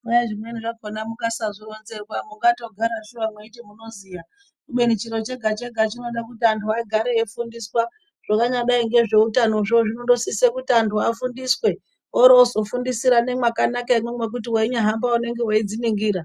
Kwai zvimweni zvakona musazvironzerwa munondogara mweiti munoziya kubei chiro chega chega chinoda juti anthu agare eifundiswa zvinonyadei ngezveutano zvo zvinodosise kuti anthu afundiswe oroo ozofundisa vaningekanaka hino ngekuti veindo hamba vanenge veidziningira .